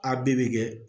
A bɛɛ bɛ kɛ